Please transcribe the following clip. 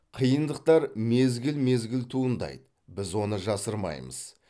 қиындықтар мезгіл мезгіл туындайды біз оны жасырмаймыз